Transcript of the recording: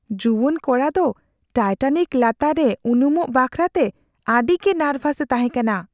ᱡᱩᱣᱟᱹᱱ ᱠᱚᱲᱟ ᱫᱚ ᱴᱟᱭᱴᱟᱱᱤᱠ ᱞᱟᱛᱟᱨ ᱨᱮ ᱩᱱᱩᱢᱚᱜ ᱵᱟᱠᱷᱨᱟᱛᱮ ᱟᱹᱰᱤᱜᱮ ᱱᱟᱨᱵᱷᱟᱥᱮ ᱛᱟᱦᱮᱸ ᱠᱟᱱᱟ ᱾